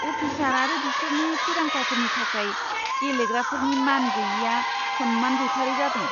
Officer आरो बिसोरनि थिरांथाफोरनि थाखाय गेलेग्राफोरनि मान गैयैया सन्मान गैथारै जादों!